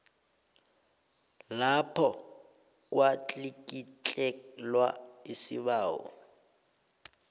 lapho kwatlikitlelwa isibawo